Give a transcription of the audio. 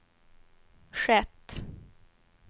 skett